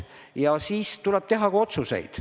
Ja siis tuleb teha ka otsuseid.